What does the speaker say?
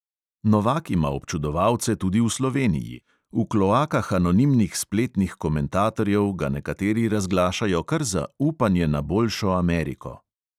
Novak ima občudovalce tudi v sloveniji, v kloakah anonimnih spletnih komentatorjev ga nekateri razglašajo kar za upanje na boljšo ameriko.